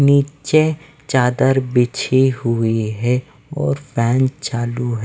नीचे चादर बिछी हुई है और फैन चालू--